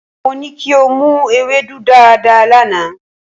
Mo ní kí o mu ewédú dáadáa lánàá.